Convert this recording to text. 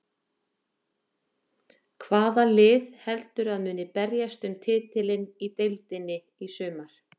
Hvaða lið heldurðu að muni berjast um titilinn í deildinni í sumar?